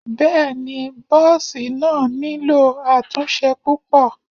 Bẹ́ẹ̀ni bọ́ọ̀sì náà nílò àtúnṣe púpọ̀.